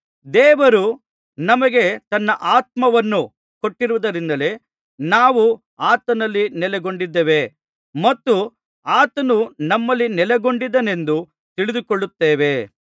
ದೇವರು ನಮಗೆ ತನ್ನ ಆತ್ಮವನ್ನು ಕೊಟ್ಟಿರುವುದರಿಂದಲೇ ನಾವು ಆತನಲ್ಲಿ ನೆಲೆಗೊಂಡಿದ್ದೇವೆ ಮತ್ತು ಆತನು ನಮ್ಮಲ್ಲಿ ನೆಲೆಗೊಂಡಿದ್ದಾನೆಂದು ತಿಳಿದುಕೊಳ್ಳುತ್ತೇವೆ